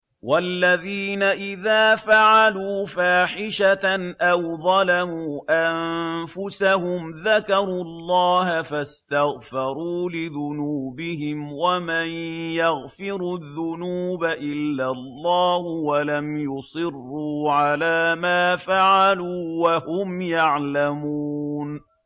وَالَّذِينَ إِذَا فَعَلُوا فَاحِشَةً أَوْ ظَلَمُوا أَنفُسَهُمْ ذَكَرُوا اللَّهَ فَاسْتَغْفَرُوا لِذُنُوبِهِمْ وَمَن يَغْفِرُ الذُّنُوبَ إِلَّا اللَّهُ وَلَمْ يُصِرُّوا عَلَىٰ مَا فَعَلُوا وَهُمْ يَعْلَمُونَ